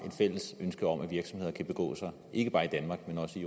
fælles ønske om at virksomheder kan begå sig ikke bare i danmark men også